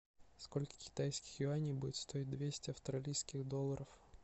сколько китайских юаней будет стоить двести австралийских долларов